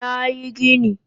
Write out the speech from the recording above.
Nayi gini